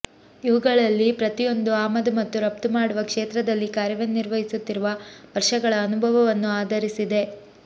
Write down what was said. ಇವುಗಳಲ್ಲಿ ಪ್ರತಿಯೊಂದೂ ಆಮದು ಮತ್ತು ರಫ್ತು ಮಾಡುವ ಕ್ಷೇತ್ರದಲ್ಲಿ ಕಾರ್ಯನಿರ್ವಹಿಸುತ್ತಿರುವ ವರ್ಷಗಳ ಅನುಭವವನ್ನು ಆಧರಿಸಿದೆ